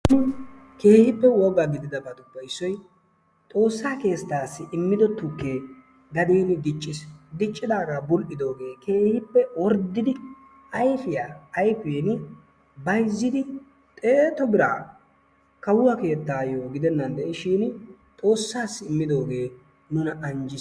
keehippe woga gididaabappe issoy xoossaa keettaasi immido tukkee ba keeni diicciis. diccidaagaa bul"idoogee keehippe orddidi ayfiyaa ayfiini bayzziidi xeetu biraa kawuwaa keettayoo gidennan de'iishin xoossasi immidoogee nuna anjjiis.